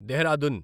Dehradun